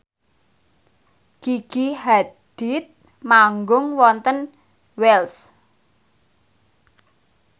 Gigi Hadid manggung wonten Wells